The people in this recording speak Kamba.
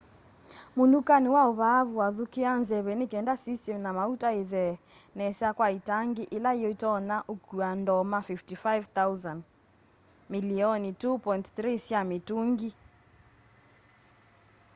munukani wa vaavu wathukia nzeve nikenda system na mauta ithee nesa kwa itangi ila yitonya ukua ndoma 55,000 milioni 2.3 sya mitungi